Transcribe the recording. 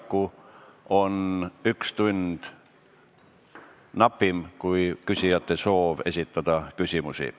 Paraku on üks tund napim kui küsijate soov küsimusi esitada.